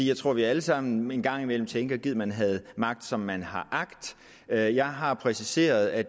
jeg tror at vi alle sammen en gang imellem tænker gid man havde magt som man har agt jeg jeg har præciseret at